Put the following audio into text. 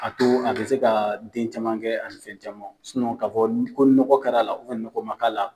A to an te se ka den caman kɛ, ani fɛ caman, ka fɔ ko nɔgɔ kɛra la, nɔgɔ ma k'a la